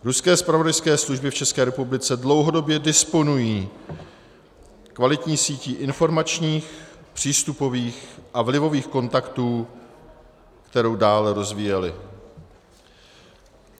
Ruské zpravodajské služby v České republice dlouhodobě disponují kvalitní sítí informačních, přístupových a vlivových kontaktů, kterou dále rozvíjely.